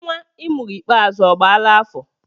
Nnwa I mụrụ ikpeazụ ọ agbaala afọ?